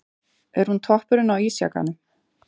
Er hún toppurinn á ísjakanum?